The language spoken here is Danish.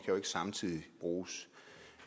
jo ikke samtidig bruges